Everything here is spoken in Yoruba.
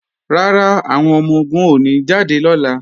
Rárá, àwọn ọmọ-ogun ò ní jáde lọ́la